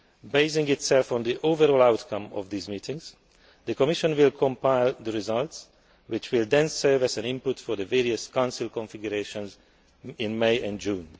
Basing itself on the overall outcome of these meetings, the Commission will compile the results, which will then serve as an input for the various Council configurations in May and June.